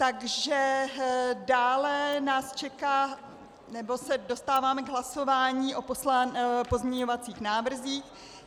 Takže dále nás čeká, nebo se dostáváme k hlasování o pozměňovacích návrzích.